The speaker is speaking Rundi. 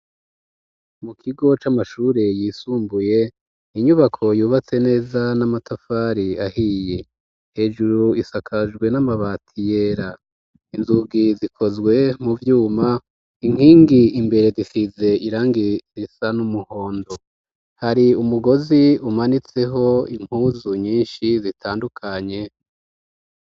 Mu kigo c'amashure yisumbuye, inyubako yubatse neza n'amatafari ahiye. Hejuru isakajwe n'amabati yera. Inzugi zikozwe mu vyuma. Inkingi imbere zisize irangi risa n'umuhondo. Hari umugozi umanitseko impuzu nyinshi zitandukanye.